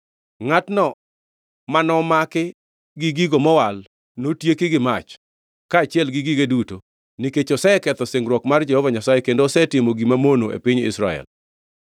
Ngʼatno mani maki gi gigo mowal notieki gi mach, kaachiel gi gige duto, nikech oseketho singruok mar Jehova Nyasaye kendo osetimo gima mono e piny Israel!’ ”